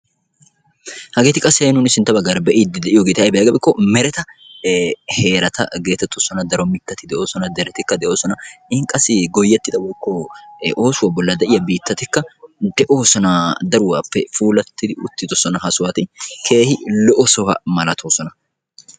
Hageetti qassi nuuni be'iyoobatti meretta imottatti biittati qassi dumma dumma puulabatti de'osonna.